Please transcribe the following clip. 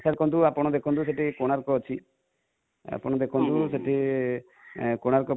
sir ଆପଣ ଦେଖନ୍ତୁ ସେଠି କୋଣାର୍କ ଅଛି, ଆପଣ ଦେଖନ୍ତୁ ସେଠି କୋଣାର୍କ